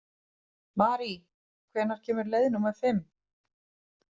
Marí, hvenær kemur leið númer fimm?